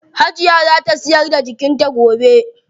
Hajiya zaa ta siyar da kijin ta gobe.